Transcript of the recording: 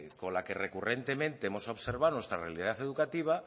con la que recurrentemente hemos observado nuestra realidad educativa